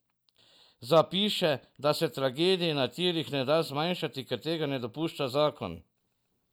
Zapiše, da se tragedij na tirih ne da zmanjšati, ker tega ne dopušča zakon.